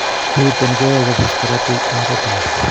Niton koyae kobosk korotik en retina